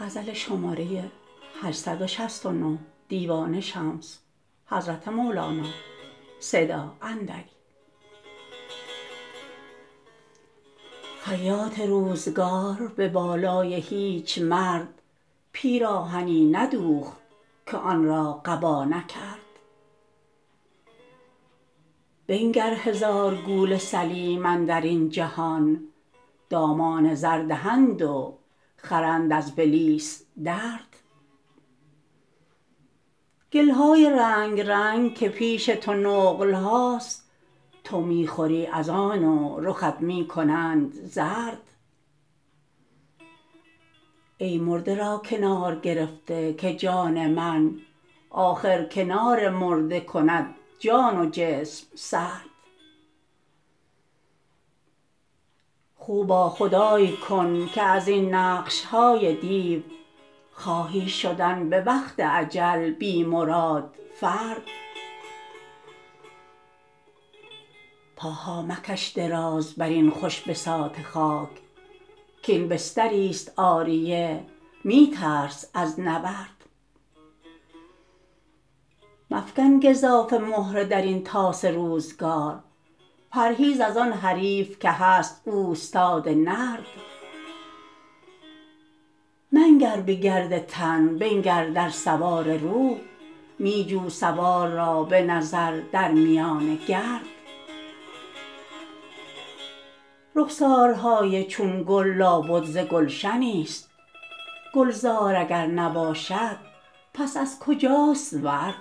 خیاط روزگار به بالای هیچ مرد پیراهنی ندوخت که آن را قبا نکرد بنگر هزار گول سلیم اندر این جهان دامان زر دهند و خرند از بلیس درد گل های رنگ رنگ که پیش تو نقل هاست تو می خوری از آن و رخت می کنند زرد ای مرده را کنار گرفته که جان من آخر کنار مرده کند جان و جسم سرد خو با خدای کن که از این نقش های دیو خواهی شدن به وقت اجل بی مراد فرد پاها مکش دراز بر این خوش بساط خاک کاین بستریست عاریه می ترس از نورد مفکن گزافه مهره در این طاس روزگار پرهیز از آن حریف که هست اوستاد نرد منگر به گرد تن بنگر در سوار روح می جو سوار را به نظر در میان گرد رخسارهای چون گل لابد ز گلشنیست گلزار اگر نباشد پس از کجاست ورد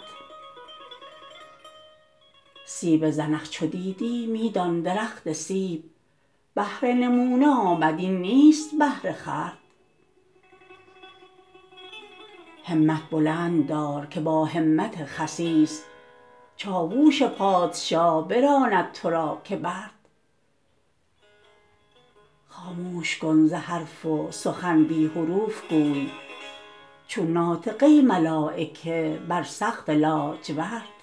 سیب زنخ چو دیدی می دان درخت سیب بهر نمونه آمد این نیست بهر خورد همت بلند دار که با همت خسیس چاوش پادشاه براند تو را که برد خاموش کن ز حرف و سخن بی حروف گوی چون ناطقه ملایکه بر سقف لاجورد